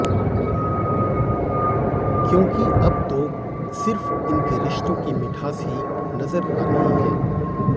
क्योंकि अब तो सिर्फ़ इनके रिश्तों की मिठास ही नज़र आ रही हैं